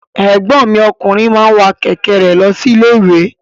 Ẹ̀gbọ́n mi ọkùnrin máa wa kẹ̀kẹ́ re lọ sí ilé-iwe.